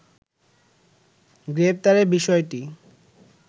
গ্রেপ্তারের বিষয়টি